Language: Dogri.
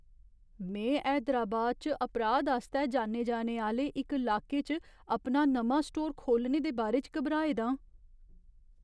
में हैदराबाद च अपराध आस्तै जान्ने जाने आह्‌ले इक लाके च अपना नमां स्टोर खोह्लने दे बारे च घबराए दा आं।